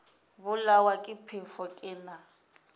bolawa ke phefo ke na